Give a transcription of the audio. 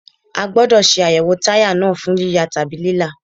A gbódọ̀ ṣe àyẹ̀wò táyà náà fún yíya tàbí lílá.